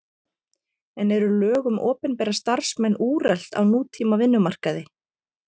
En eru lög um opinbera starfsmenn úrelt á nútíma vinnumarkaði?